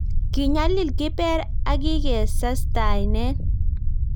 Kiinyalil kiber akike sastainen